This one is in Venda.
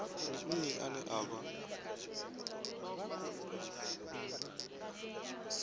ndi nnyi ane a vha